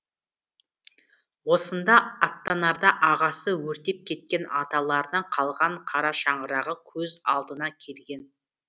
осында аттанарда ағасы өртеп кеткен аталарынан қалған қарашаңырағы көз алдына келген